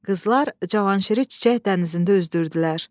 Qızlar Cavanşiri çiçək dənizində üzdürdülər.